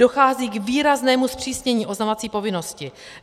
Dochází k výraznému zpřísnění oznamovací povinnosti.